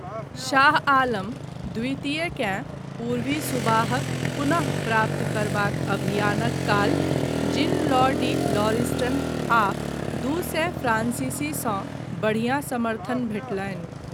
शाह आलम द्वितीय, केँ पूर्वी सुबाहक पुनः प्राप्त करबाक अभियानक काल जीन लॉ डी लॉरिस्टन आ दू सए फ्रांसीसी सँ बढियाँ समर्थन भेटलनि।